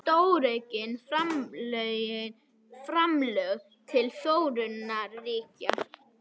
Stóraukin framlög til þróunarríkja